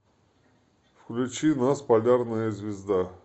включи нас полярная звезда